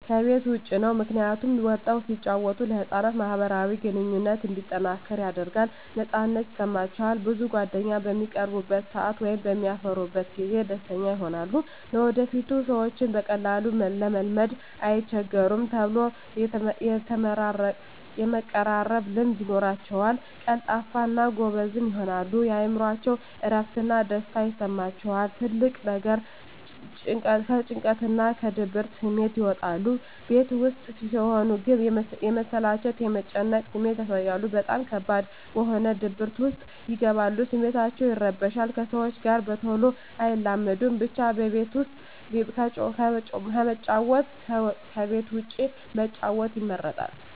ከቤት ዉጭ ነዉ ምክንያቱም ወጠዉ ሲጫወቱ ለህፃናት ማህበራዊ ግንኙነቶች እንዲጠናከር ያደርጋል ነፃነት ይሰማቸዋል ብዙ ጓደኛም በሚቀርቡበት ሰአት ወይም በሚያፈሩበት ጊዜ ደስተኛ ይሆናሉ ለወደፊቱ ሰዎችን በቀላሉ ለመልመድ አይቸገሩም ተሎ የመቀራረብ ልምድ ይኖራቸዉል ቀልጣፋ እና ጎበዝም ይሆናሉ የእምሮአቸዉ እረፍት እና ደስታ ይሰማቸዋል ትልቁ ነገር ከጭንቀትና ከድብርት ስሜት ይወጣሉ ቤት ዉስጥ ሲሆን ግን የመሰላቸት የመጨነቅ ስሜት ያሳያሉ በጣም ከባድ በሆነ ድብርት ዉስጥ ይገባሉ ስሜታቸዉ ይረበሻል ከሰዎች ጋር በተሎ አይላመዱም ብቻ ከቤት ዉስጥ ከመጫወት ከቤት ዉጭ መጫወት ይመረጣል